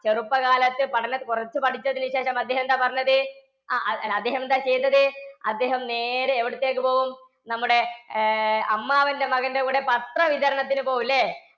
ചെറുപ്പകാലത്ത് പഠനം കുറച്ചു പഠിച്ചതിനു ശേഷം അദ്ദേഹം എന്താ പറഞ്ഞത്? ആഹ് ആ അദ്ദേഹം എന്താ ചെയ്തത്? അദ്ദേഹം നേരെ എവിടത്തെക്ക് പോകും? നമ്മുടെ ആഹ് അമ്മാവന്‍ടെ മകന്റെ കൂടെ പത്ര വിതരണത്തിന് പോകും ല്ലേ?